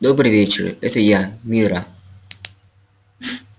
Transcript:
добрый вечер это я мирра